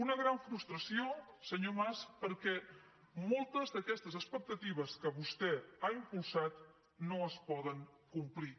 una gran frustració senyor mas perquè moltes d’aquestes expectatives que vostè ha impulsat no es poden complir